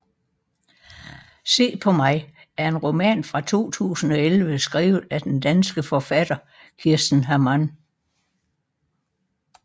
Se på mig er en roman fra 2011 skrevet af den danske forfatter Kirsten Hammann